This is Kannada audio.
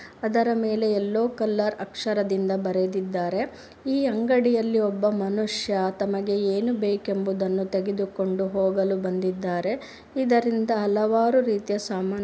ಅದರ ಮೇಲೆ ಯಲ್ಲೋ ಕಲ್ಲರ್ ಅಕ್ಷರದಿಂದ ಬರೆದಿದ್ದಾರೆ. ಈ ಅಂಗಡಿಯಲ್ಲಿ ಒಬ್ಬ ಮನುಷ್ಯ ತಮಗೆ ಏನು ಬೇಕೆಂಬುದನ್ನು ತೆಗೆದುಕೊಂಡು ಹೋಗಲು ಬಂದಿದಾರೆ ಇದರಿಂದ ಹಲವಾರು ರೀತಿಯ ಸಾಮಾನು --